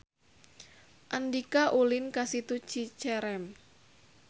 Andika ulin ka Situ Cicerem